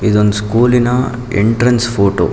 ಇದೊಂದು ಸ್ಕೂಲಿನ entrance photo .